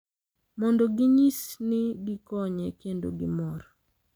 Mondo ginyis ni gikonye kendo gimor.